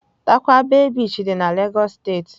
Tarkwa bay Beach dị na Lagos State.